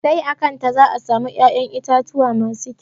Sai a kanta za a samu ya'yan itatuwa masu kƴau.